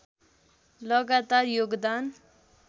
लगातार योगदान